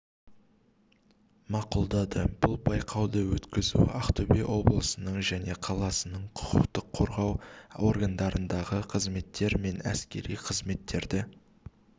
мақұлдады бұл байқауды өткізу ақтөбе облысының және қаласының құқық қорғау органдарындағы қызметтер мен әскери қызметтерді